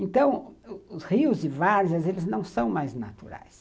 Então, os rios e várzeas, eles não são mais naturais.